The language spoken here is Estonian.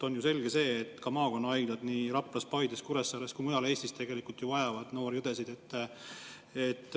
On ju selge, et maakonnahaiglad nii Raplas, Paides, Kuressaares kui ka mujal Eestis vajavad noori õdesid.